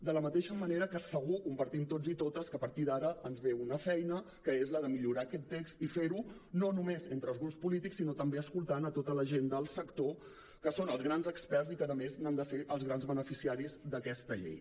de la mateixa manera que segur que compartim tots i totes que a partir d’ara ens ve una feina que és la de millorar aquest text i fer ho no només entre els grups polítics sinó també escoltant a tota la gent del sector que són els grans experts i que a més han de ser els grans beneficiaris d’aquesta llei